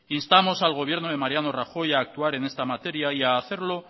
instamos al gobierno de mariano rajoy a actuar en esta materia y a hacerlo